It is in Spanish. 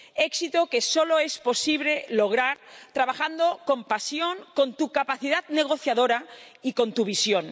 éxito que solo es posible lograr trabajando con pasión, con tu capacidad negociadora y con tu visión.